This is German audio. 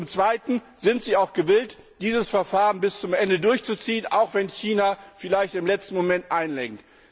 Und zum zweiten Sind Sie auch gewillt, dieses Verfahren bis zum Ende durchzuziehen, auch wenn China vielleicht im letzten Moment einlenkt?